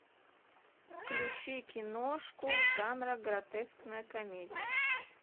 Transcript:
включи киношку жанра гротескная комедия